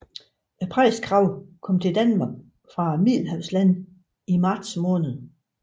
Præstekraven kommer til Danmark fra middelhavslandene i marts måned